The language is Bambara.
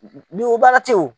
o baara tɛ ye o.